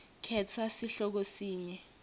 khetsa sihloko sinye